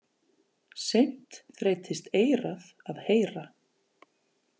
Seint þreytist eyrað að heyra.